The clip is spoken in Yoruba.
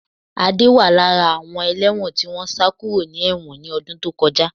Adé wà lára àwọn ẹlẹ́wọ̀n tí wọ́n sá kúrò ní ẹ̀wọ̀n ni ọdún tó kọjá